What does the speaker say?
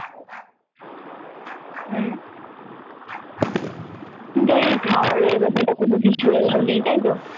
হম কিন্তু ওই খাবারের ব্যাপারটা কোনও কিছু allow নেই তাইতো?